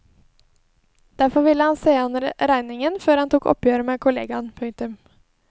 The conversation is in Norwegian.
Derfor ville han se an regningen før han tok oppgjøret med kollegaen. punktum